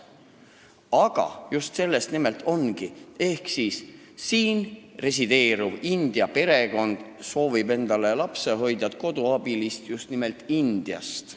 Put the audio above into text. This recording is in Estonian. " Aga selles asi ongi: siin resideeriv India perekond soovib endale lapsehoidjat-koduabilist just nimelt Indiast.